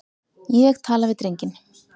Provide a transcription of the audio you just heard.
Ég tala við drenginn.